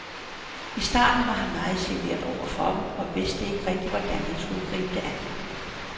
I starten var han meget genert over for dem og vidste ikke rigtig, hvordan jeg skulle gribe det an.